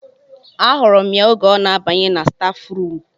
A hụrụ m ya oge ọ na-abanye na stafu rum